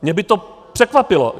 Mě by to překvapilo.